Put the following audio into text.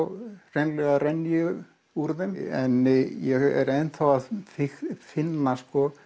hreinlega renn ég úr þeim en ég er enn þá að finna